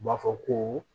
U b'a fɔ ko